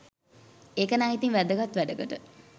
ඒකනං ඉතින් වැදගත් වැඩකට